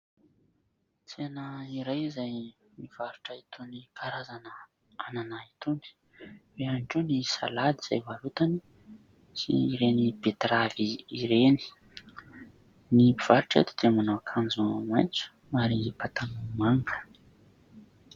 Tsena iray izay mivarotra itony karazana anana itony. Eo ihany koa ny salady izay varotany sy ireny "bettrave" ireny. Ny mpivarotra eto dia manao akanjo maitso ary pataloha manga.